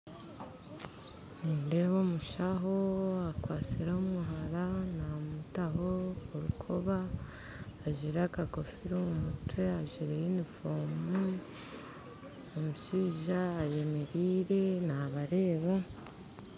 Nindeeba omushano akwasire omuhara namutaho orukoba ajaire akagofira omu mutwe ajwire yunifoomu omushaija ariyo ayemeraire nabareeba